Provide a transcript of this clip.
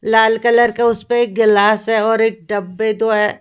लाल colour का उसपे एक गिलास है और एक डब्बे दो है।